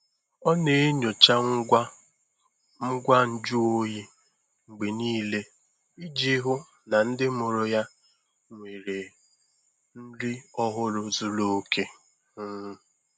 Ọ na-enyocha ngwa ngwa nju oyi mgbe niile iji hụ na ndị mụrụ ya nwere nri ọhụrụ zuru oke. um